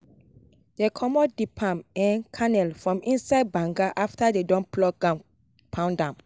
dey comot the palm um kernel from inside banga after dey don pluck am pound am